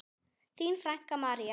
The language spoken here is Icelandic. Þín frænka, María.